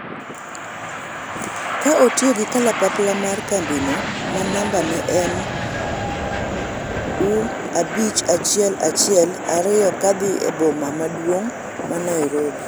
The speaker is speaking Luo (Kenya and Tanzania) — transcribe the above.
ka otiyogi kalapapla mar kambino ma namba ne en W abich achiel achiel ariyo kadhi e boma maduong' ma Nairobi